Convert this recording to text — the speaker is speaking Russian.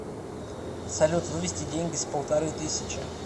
салют вывести деньги с полторы тысячи